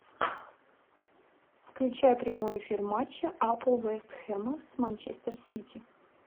включай прямой эфир матча апл вест хэма с манчестер сити